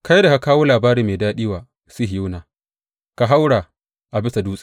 Kai da ka kawo labari mai daɗi wa Sihiyona, ka haura a bisa dutse.